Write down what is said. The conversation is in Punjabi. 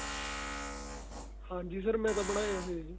ਹਾਂਜੀ sir ਮੈਂ ਤਾਂ ਬਣਾਇਆ ਹੋਇਆ ਜੀ